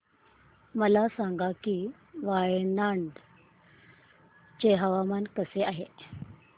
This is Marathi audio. मला सांगा की वायनाड चे हवामान कसे आहे